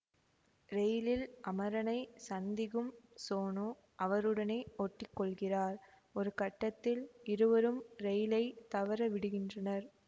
ரெயிலில் அமரனை சந்திகும் சோனு அவருடனே ஒட்டி கொள்கிறார் ஒரு கட்டத்தில் இருவரும் ரெயிலை தவற விடுகின்றனர்